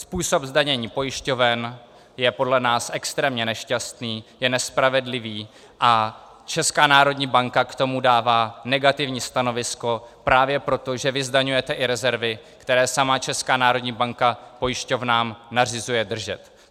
Způsob zdanění pojišťoven je podle nás extrémně nešťastný, je nespravedlivý a Česká národní banka k tomu dává negativní stanovisko právě proto, že vy zdaňujete i rezervy, které sama Česká národní banka pojišťovnám nařizuje držet.